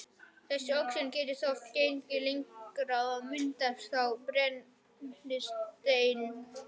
Þessi oxun getur þó gengið lengra, og myndast þá brennisteinssýra